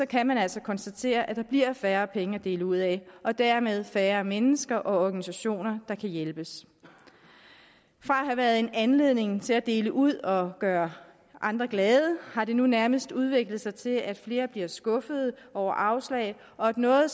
kan man altså konstatere at der bliver færre penge at dele ud af og dermed færre mennesker og organisationer der kan hjælpes fra at have været en anledning til at dele ud og gøre andre glade har det nu nærmest udviklet sig til at flere bliver skuffede over afslag og at noget